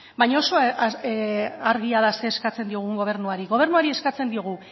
baina oso argia da zer eskatzen diogun gobernuari gobernuari eskatzen diogu